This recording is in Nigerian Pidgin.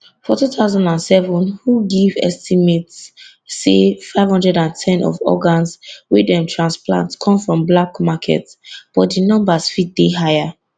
for 2007 who give estimate say 510 of organs wey dem transplant come from black market but di numbers fit dey higher